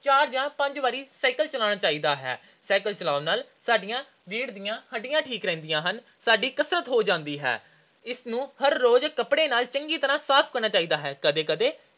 ਚਾਰ ਜਾਂ ਪੰਜ ਵਾਰੀ cycle ਚਲਾਉਣਾ ਚਾਹੀਦਾ ਹੈ। cycle ਚਲਾਉਣ ਨਾਲ ਸਾਡੀਆਂ ਰੀੜ੍ਹ ਦੀਆਂ ਹੱਡੀਆਂ ਠੀਕ ਰਹਿੰਦੀਆਂ ਹਨ। ਸਾਡੀ ਕਸਰਤ ਹੋ ਜਾਂਦੀ ਹੈ। ਇਸ ਨੂੰ ਹਰ ਰੋਜ ਕੱਪੜੇ ਨਾਲ ਚੰਗੀ ਤਰ੍ਹਾਂ ਸਾਫ਼ ਕਰਨਾ ਚਾਹੀਦਾ ਹੈ। ਕਦੇ-ਕਦੇ